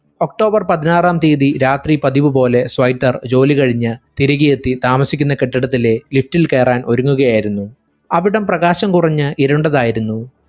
october പതിനാറാം തിയതി രാത്രി പതിവുപോലെ സ്വൈറ്റർ ജോളി കഴിഞ്ഞു തിരികെയെത്തി താമസിക്കുന്ന കെട്ടിടത്തിലെ lift ൽ കയറാൻ ഒരുങ്ങുകയായിരുന്നു അവിടം പ്രകാശം കുറഞ്ഞു ഇരുണ്ടതായിരുന്നു